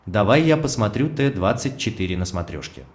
давай я посмотрю т двадцать четыре на смотрешке